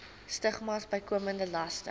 stigmas bykomende laste